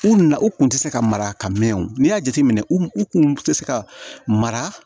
U na u kun tɛ se ka mara ka mɛn o n'i y'a jateminɛ u kun tɛ se ka mara